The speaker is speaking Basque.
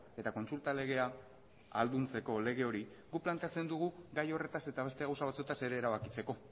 eta kontsulta legea ahalduntzeko lege hori guk planteatzen dugu gai horretaz eta beste gauza batzuetaz ere erabakitzeko